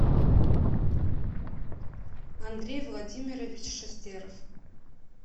андрей владимирович шестеров